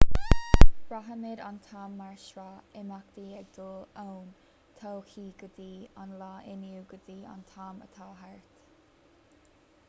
braithimid an t-am mar shraith imeachtaí ag dul ón todhchaí go dtí an lá inniu go dtí an t-am atá thart